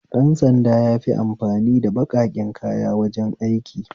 Ɗan sanda yafi amfani ba baƙaƙen kaya wajen aiki